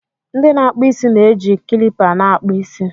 ndị na-akpụ isi na-eji kilipa na-akpụ isi